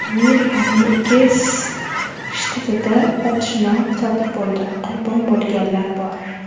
Amerikaning ikki shtatida otishma sodir bo‘ldi, qurbon bo‘lganlar bor.